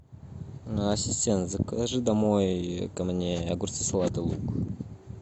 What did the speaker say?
ассистент закажи домой ко мне огурцы салат и лук